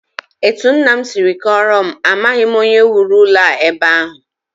Etu nna m si kọọrọ m, amaghị onye wuru ụlọ a ebe ahụ